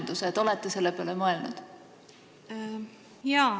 Kas te olete selle peale mõelnud?